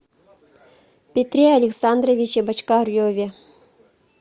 петре александровиче бочкареве